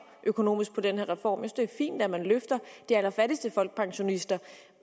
økonomisk på den her reform at det er fint at man løfter de allerfattigste folkepensionister